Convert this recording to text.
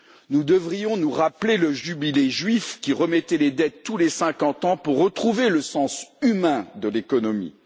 Nous devrions nous rappeler le Jubilé juif, qui remettait les dettes tous les 50 ans pour retrouver le sens humain de l'économie.